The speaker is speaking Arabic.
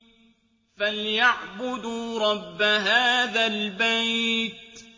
فَلْيَعْبُدُوا رَبَّ هَٰذَا الْبَيْتِ